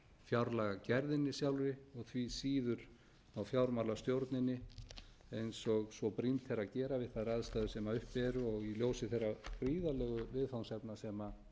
fjárlagagerðinni sjálfri og því síður á fjármálastjórninni eins og svo brýnt er að gera við þær aðstæður sem uppi eru og í ljósi þeirra gríðarlegu viðfangsefna sem